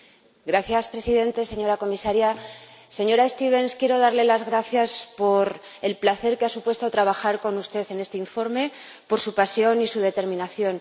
Señor Presidente, señora Comisaria, señora Stevens, quiero darle las gracias por el placer que ha supuesto trabajar con usted en este informe, por su pasión y su determinación.